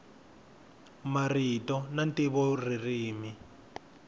marito na ntivo ririmi